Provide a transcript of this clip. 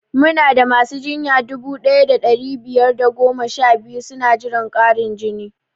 Muna da masu jinya dubu ɗaya da ɗari biyar da goma sha biyu suna jiran ƙarin jini